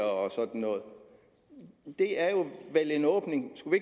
og sådan noget det er vel en åbning skulle